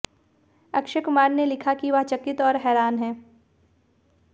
अक्षय कुमार ने लिखा कि वह चकित और हैरान हैं